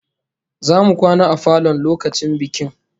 Zamu kwana a falon lokacin bikin